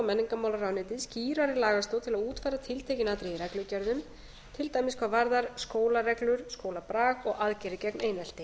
menningarmálaráðuneytið skýrari lagastoð til að útfæra tiltekin atriði í reglugerðum til dæmis hvað varðar skólareglur skólabrag og aðgerðir gegn einelti